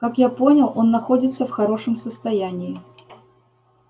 как я понял он находится в хорошем состоянии